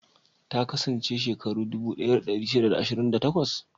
Ta kasance shekaru dubu ɗaya da ɗari shida da ashirin da takwas?